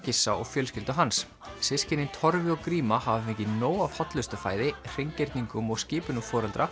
Gissa og fjölskyldu hans systkinin Torfi og gríma hafa fengið nóg af hollustufæði hreingerningum og skipunum foreldra